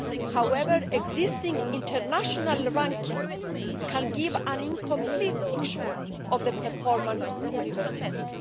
However, existing international rankings can give an incomplete picture of the performance of universities.